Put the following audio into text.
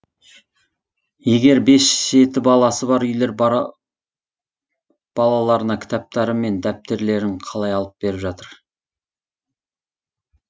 егер бес жеті баласы бар үйлер балаларына кітаптары мен дәптерлерін қалай алып беріп жатыр